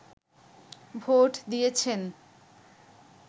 vote দিয়েছেন